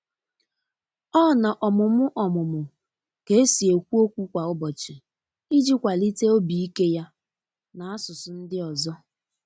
ọna ọmumụ ọmumụ ka esi ekwụ ọkwụ kwa ubochi iji kwalite obi ike ya na asụsụ ndi ọzọ.